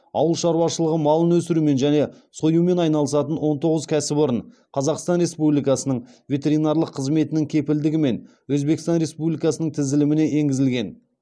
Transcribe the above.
ауыл шаруашылығы малын өсірумен және союмен айналысатын он тоғыз кәсіпорын қазақстан республикасының ветеринарлық қызметінің кепілдігімен өзбекстан республикасының тізіліміне енгізілген